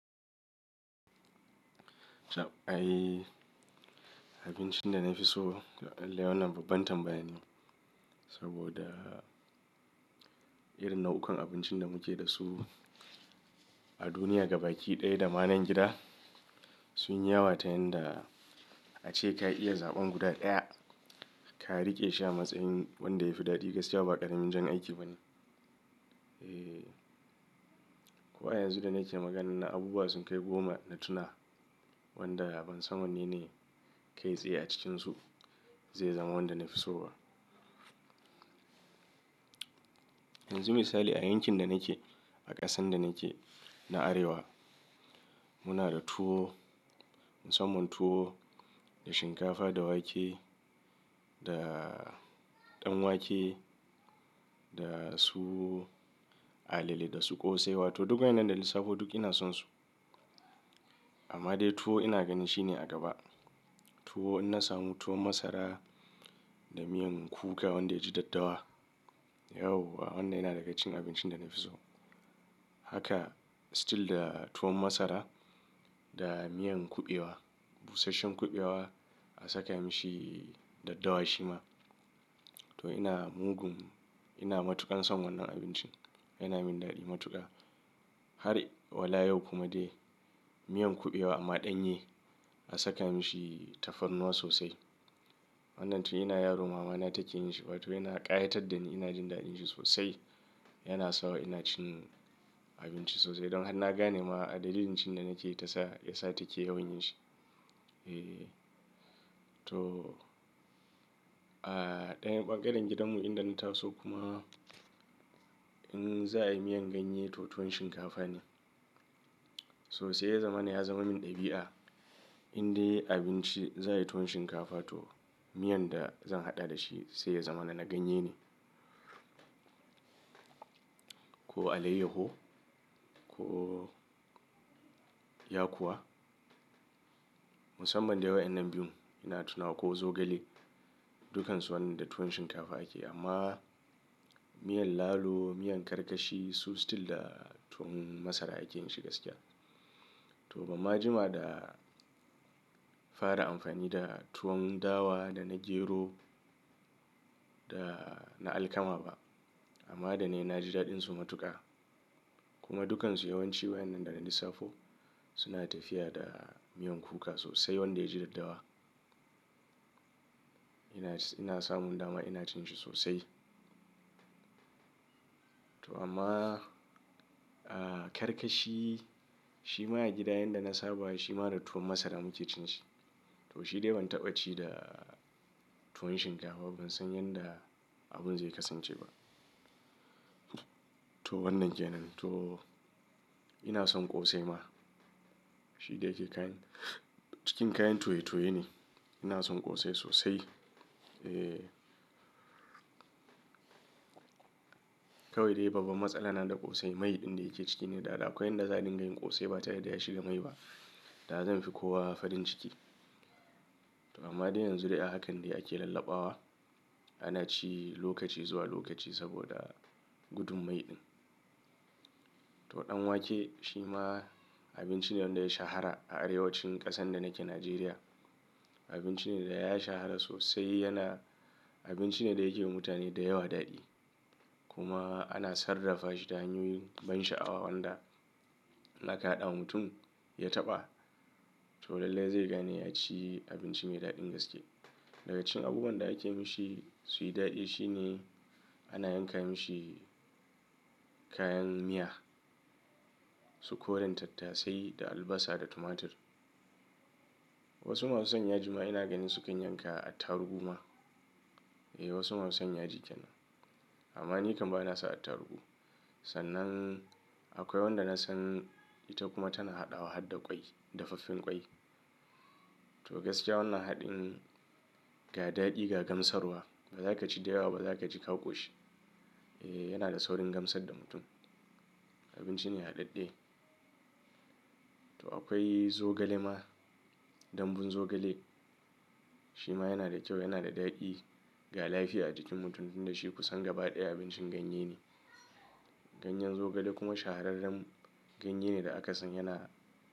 Jah, ai abincin da na fi so toh ai wannan babban tambaya ne. Saboda irin nau'ukan abincin da muke da su a duniya gaba ki ɗaya da manan gida sun yi yawa ta yanda ace ka iya zaɓan guda ɗaya ka riƙe shi a matsayin wanda yafi daɗi gaskiya ba ƙaramin jan aiki ba ne. Eee, kuwa yanzu da nake magana na abubuwa sun kai goma na tuna wanda ban san wanne ne kai tsaye a cikinsu zai zama wanda na fi so ba. Yanzu misali a yankin da nake a ƙasan da nake na Arewa muna da tuwo, musamman tuwo da shinkafa da wake da ɗan wake da su alele da su ƙosai wato duk waninan dana lissafo duk ina sonsu. Amma dai tuwo ina ganin shine a gaba. Tuwo in na samu tuwon masara da miyan kuka wanda yaji daddawa. Yau wa wannan yana daga cikin abincin da na fi so. Haka still da tuwon masara da miyan kuɓewa, busasshen kuɓewa a saka mishi daddawa shi ma. To ina mugun ina matuƙan son wannan abincin. Yana min daɗi matuƙa. Har wala yau kuma dai miyan kuɓewa amma ɗanye a saka mishi tafarnuwa sosai. Wannnan to ina yaro mama na take yin shi wato yana ƙayatar da ni ina jin daɗin shi sosai. Yana sa wa ina cin abinci sosai don har na gane ma a dalilin cin da nake yi ta sa ya sa take yawan yin shi. Eee to a ɗayan ɓangaren gidanmu inda na taso kuma in za a yi miyan ganye to tuwon shinkafa ne. Sosai ya zama min ɗabi'a in dai abinci za a yi tuwon shinkafa to miyan da zan haɗa da shi sai ya zama na na ganye ne. Ko alayyaho ko yakuwa. Musamman dai wa'inan biyun ina tunawa ko zogale dukansu wannan da tuwon shinkafa ake amma miyan lalo, miyan karkashi su still da tuwon masara ake yin shi gaskiya. To bama jima da fara amfani da tuwon dawa da na gero da na alkama ba amma da ne na ji daɗinsu matuƙa. Kuma dukansu yawanci wa'inan da na lissafo suna tafiya da miyan kuka sosai wanda yaji daddawa. Ina, ina samun dama ina cin shi sosai. To amma a karkashi shi ma a gida yanda na saba shi ma da tuwon masara muke cin shi. To shi dai ban taɓa ci da tuwon shinkafa ba ban san yanda abun zai kasance ba. To wannan ke nan to ina son ƙosai ma shi dai yake kayan cikin kayan toye-toye ne. Ina son ƙosai sosai. Eee kawai dai babban matsala na da ƙosai mai ɗin da yake ciki ne da akwai yanda za a dinga yin ƙosai ba ta yadda ya shiga mai ba da zan fi kowa farin ciki. To amma dai yanzu dai hakan dai ake lallabawa ana ci lokaci zuwa lokaci saboda gudun mai ɗin. To ɗan wake shi ma abinci ne wanda ya shahara a arewacin ƙasan da nake Nijeriya. Abinci ne da ya shahara sosai yana abinci ne da yake mutane da yawa daɗi. Kuma ana sarrafa shi ta hanyoyin ban sha'awa wanda in aka haɗa mutum ya taɓa to lallai zai gane ya ci abinci mai daɗin gaske. Dagacin abubuwan da ake mishi suyi daɗi shine ana yanka mishi kayan miya su koran tattasai da albasa da tumatir. Wasu masu son yaji ma ina ganin sukan yanka attarugu ma. Eh wasu masu son ya ji ƙenan. Amma ni kam ba na sa attarugu. Sannan akwai wanda na san ita kuma tana haɗawa hada ƙwai dafaffen ƙwai. To gaskiya wannan haɗin ga daɗi ga gamsarwa baza ka ci da yawa ba zaka ji ka koshi. Eee yana da saurin gamsar da mutum. Abinci ne haɗaɗɗe. To akwai zogale ma dambun zogale shi ma yana da kyau yana da daɗi ga lafiya a jikin mutum tun da shi kusan gaba ɗaya abincin ganye ne. Ganyen zogale kuma shahararren ganye ne da aka san yana.